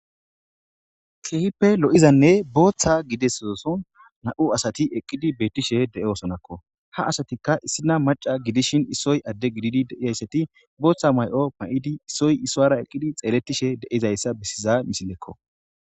Keehippe lo'izanne booththa gidida nam'u asati eqqidi bettishe de'esonakko ha asatikka issinoy maca gididi bettishin issoy adde gididaysatti boththa mayo mayidi issoy issuwara xelletishe bettiza misilekko